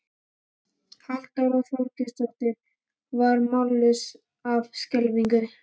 Halldóra Þorleifsdóttir varð mállaus af skelfingu.